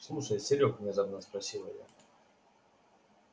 слушай серёг внезапно спросила я